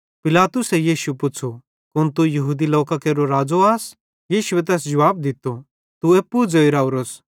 पिलातुसे यीशु पुच़्छ़ू कुन तू यहूदी लोकां केरो राज़ो आस यीशुए तैस जुवाब दित्तो तू एप्पू ज़ोइ राओरोस